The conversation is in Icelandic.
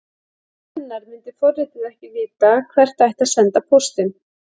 Án hennar myndi forritið ekki vita hvert ætti að senda póstinn.